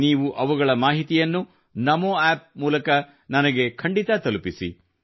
ನೀವು ಅವುಗಳ ಮಾಹಿತಿಯನ್ನು ನಮೋ ಆಪ್ ಮೂಲಕ ನನಗೆ ಖಂಡಿತಾ ತಲುಪಿಸಿ